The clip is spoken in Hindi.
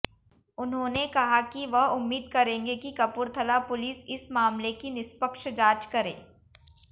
उन्होंने कहा कि वह उम्मीद करेंगे कि कपूरथला पुलिस इस मामले की निष्पक्ष जांच करे